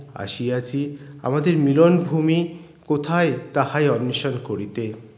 আসিয়াছি আমাদের মিলন ভুমি কোথায় তাহাই অন্বেষণ করিতে